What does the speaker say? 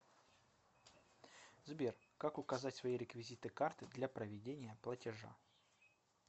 сбер как указать свои реквизиты карты для проведения платежа